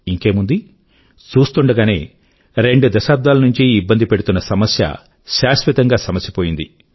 ఇంకేముంది చూస్తూండగానే రెండు దశాబ్దాల నుంచీ ఇబ్బంది పెడుతున్న సమస్య శాశ్వతం గా సమసిపోయింది